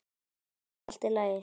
Já, allt í lagi.